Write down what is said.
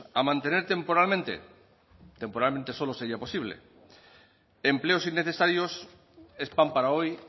a mantener temporalmente temporalmente solo sería posible empleos innecesarios es pan para hoy